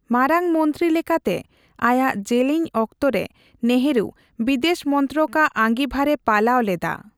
ᱢᱟᱨᱟᱝ ᱢᱚᱱᱛᱨᱤ ᱞᱮᱠᱟᱛᱮ ᱟᱭᱟᱜ ᱡᱮᱞᱮᱧ ᱚᱠᱛᱚᱨᱮ ᱱᱮᱹᱦᱨᱩ ᱵᱤᱫᱮᱹᱥ ᱢᱚᱱᱛᱨᱚᱠᱟᱜ ᱟᱸᱜᱤᱵᱷᱟᱨᱮ ᱯᱟᱞᱟᱣ ᱞᱮᱫᱟ ᱾